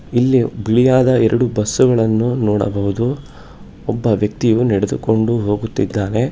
ಇಲ್ಲಿ ಬಿಳಿಯಾದ ಎರಡು ಬಸ್ಸುಗಳನ್ನು ನೋಡಬಹುದು ಒಬ್ಬ ವ್ಯಕ್ತಿಯು ನಡೆದುಕೊಂಡು ಹೋಗುತ್ತಿದ್ದಾನೆ.